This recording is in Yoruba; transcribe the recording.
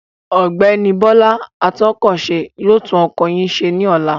Ọ̀gbẹ́ni Bọ́lá atúnkọ̀ṣe yóò tún ọkọ̀ yín ṣẹ ní ọ̀la.